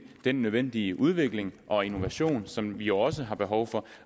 den nødvendige udvikling og innovation som vi jo også har behov for